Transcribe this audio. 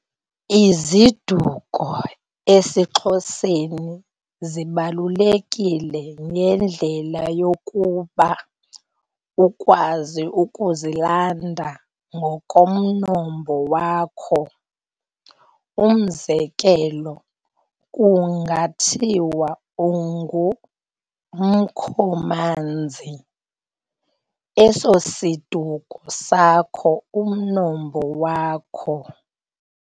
IziDuko esiXhoseni zibaluleke ngendlela yokuba ukwazi ukuzilanda ngokomnombo wakho.umzekelo kunga thiwa ungu Mkhomanzi esosisiduko sakho umnombo wakho.